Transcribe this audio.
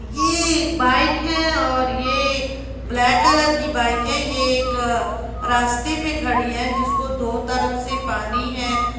ये एक बाइक है और ये ब्लैक कलर की बाइक है ये एक रास्ते पे खड़ी है जिसको दो तरफ से पानी है।